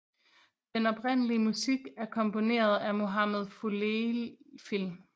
Den oprindelige musik er komponeret af Muhammad Fuliefil